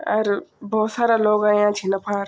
अर भौत सारा लोग आयां छिन अफार।